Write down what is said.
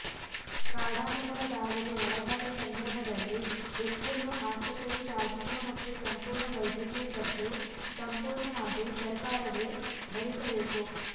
ಕಾಡಾನೆಗಳ ದಾಳಿಗೆ ಒಳಗಾದ ಸಂದರ್ಭದಲ್ಲಿ ವ್ಯಕ್ತಿಯನ್ನು ಆಸ್ಪತ್ರೆಗೆ ಸಾಗಿಸುವ ಮತ್ತು ಸಂಪೂರ್ಣ ವೈದ್ಯಕೀಯ ಖರ್ಚು ಸಂಪೂರ್ಣವಾಗಿ ಸರಕಾರವೇ ಭರಿಸಬೇಕು